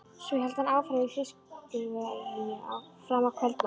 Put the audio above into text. Svo hélt hann áfram í Fiskiðjuverinu fram að kvöldmat.